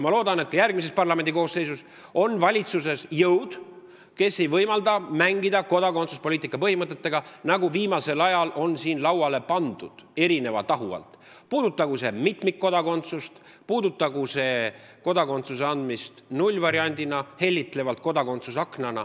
Ma loodan, et ka järgmises parlamendi koosseisus on valitsuses jõud, kes ei võimalda mängida kodakondsuspoliitika põhimõtetega, nagu seda viimasel ajal on juhtunud, puudutagu see mitmikkodakondsust või kodakondsuse andmise nullvarianti ehk hellitlevalt öeldes kodakondsusakent.